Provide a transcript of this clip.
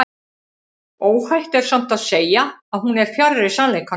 óhætt er samt að segja að hún er fjarri sannleikanum